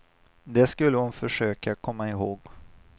Det skulle hon försöka komma ihåg.